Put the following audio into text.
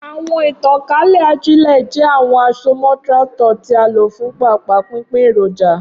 Awọn itankale ajile jẹ awọn asomọ tractor ti a lo fun paapaa pinpin eroja.